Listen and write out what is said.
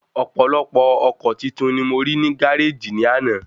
Ọ̀pọ̀lọpọ̀ ọkọ̀ titun ni mo rí ní gáréjì ní àná